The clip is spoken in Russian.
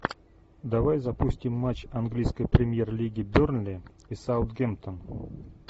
давай запустим матч английской премьер лиги бернли и саутгемптон